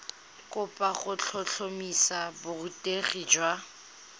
kopo go tlhotlhomisa borutegi jwa